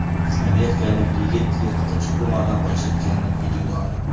Amerikalik yigit yirtqich pumadan qochayotganini videoga oldi .